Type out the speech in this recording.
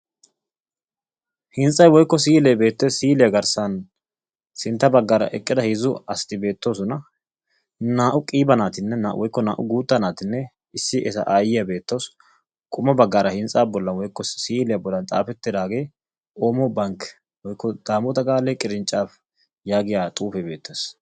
Hintstsaa bolli siilee beettees. silliyaa miyiyaan eqqida heezzu asati beetoosona. naa"u qiiba naatinne woykko naa"u guutta naatinne issi eta aayyiyaa beettawus. qommo baggaara hintsaa bollan woykko siiliyaa bolli xaafettidagee oomo bank woykko daamota gaale qirincaafe yaagiyaa xuufee beettees.